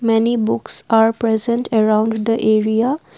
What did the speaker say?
many books are present around the area.